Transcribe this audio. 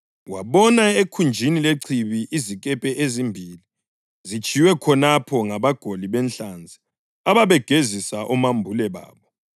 wabona ekhunjini lechibi izikepe ezimbili zitshiywe khonapho ngabagoli benhlanzi ababegezisa omambule babo.